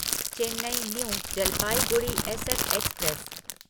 Chennai new Jalpaiguri SF express